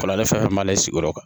Kɔlɔlɔ fɛn fɛn b'ale sigiyɔrɔ kan